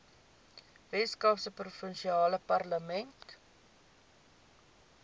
weskaapse provinsiale parlement